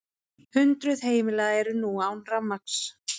Hundruð heimila eru nú án rafmagns